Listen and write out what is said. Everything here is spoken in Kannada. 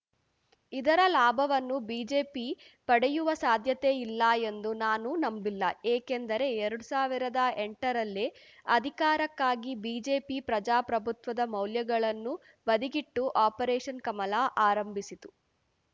ಇದರ ಲಾಭವನ್ನು ಬಿಜೆಪಿ ಪಡೆಯುವ ಸಾಧ್ಯತೆ ಇಲ್ಲ ಎಂದು ನಾನು ನಂಬಿಲ್ಲ ಏಕೆಂದರೆ ಎರಡು ಸಾವಿರದ ಎಂಟರಲ್ಲೇ ಅಧಿಕಾರಕ್ಕಾಗಿ ಬಿಜೆಪಿ ಪ್ರಜಾಪ್ರಭುತ್ವದ ಮೌಲ್ಯಗಳನ್ನು ಬದಿಗಿಟ್ಟು ಆಪರೇಷನ್‌ ಕಮಲ ಆರಂಭಿಸಿತು